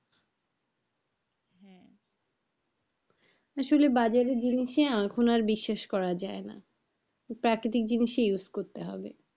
আসলে বাজারের জিনিসে এখন আর বিশ্বাস করতে পারা যায় না প্রাকৃতিক জিনিসই ইউজ করতে হবে।